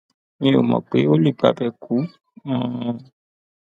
mi ò mọ pé ó lè gbabẹ kú um